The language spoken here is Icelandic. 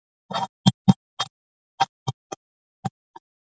Við skulum hvolfa úr vaskafatinu hérna rétt hjá.